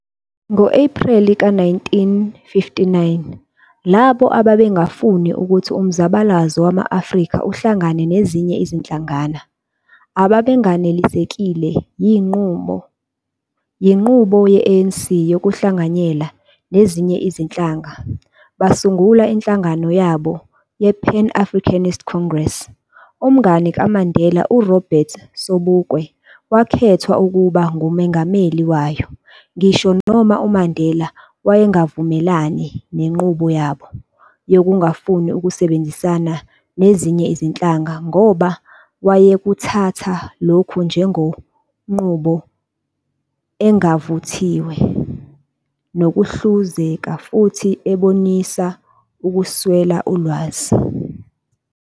Ngo-Epreli ka 1959, labo ababengafuni ukuthi umzabalazo wama-Afrika uhlangane nezinye izinhlangana, ababenganelisekile yinqubo ye-ANC yokuhlanganyela nezinye izinhlanga, basungula inhlangano ye-Pan-Africanist Congress- Umngani kaMandela u--Robert Sobukwe wakhethwa ukuba ngumengameli wayo, ngisho noma uMandela wayengavumelani nenqubo yabo yokungafuni ukusebenzisana nezinye izinhlanga ngoba wayekuthatha lokhu njengonqubo engavuthiwe nokuhluzeka, futhi ebonisa ukuswela ulwazi.